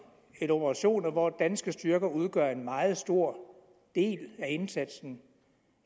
eller operationer hvor danske styrker udgør en meget stor del af indsatsen